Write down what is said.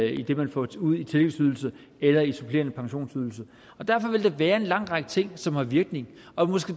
i det man får ud i tillægsydelse eller i supplerende pensionsydelse derfor vil der være en lang række ting som har virkning og